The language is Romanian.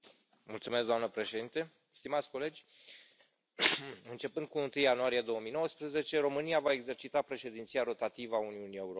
Doamnă președintă, stimați colegi, începând cu 1 ianuarie 2019, România va exercita președinția rotativă a Uniunii Europene.